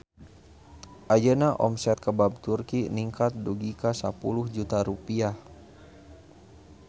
Ayeuna omset Kebab Turki ningkat dugi ka 10 juta rupiah